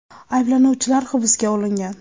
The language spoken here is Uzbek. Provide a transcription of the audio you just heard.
Ayblanuvchilar hibsga olingan.